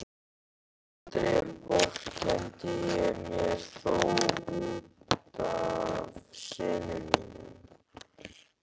Aldrei vorkenndi ég mér þó út af syni mínum.